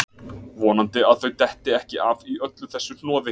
Vonandi að þau detti ekki af í öllu þessu hnoði